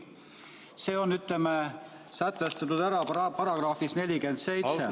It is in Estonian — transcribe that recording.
See on sätestatud §-s 47.